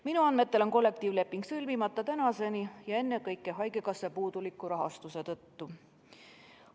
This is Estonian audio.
Minu andmetel on kollektiivleping sõlmimata tänaseni, ennekõike haigekassa puuduliku rahastuse tõttu.